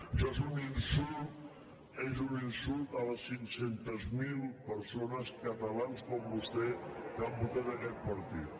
això és un insult és un insult a les cinc cents miler persones catalans com vostè que han votat aquest partit